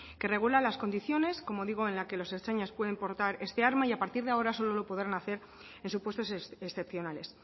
que regula las condiciones como digo en la que los ertzainas pueden portar este armar y a partir de ahora solo lo podrán hacer en supuestos excepcionales